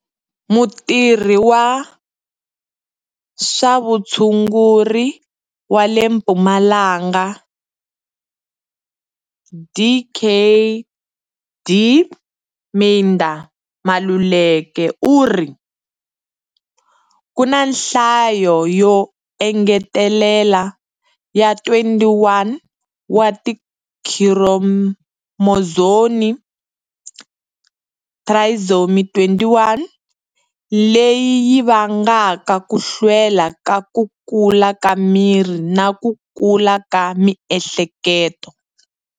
Mutirhi wa swa vutshunguri wa le Mpumalanga Dkd Midah Maluleka u ri, Ku na nhlayo yo engetelela ya 21 wa tikhiromozomu, Trisomy 21, leyi yi vangaka ku hlwela ka ku kula ka miri na ku kula ka miehleketo.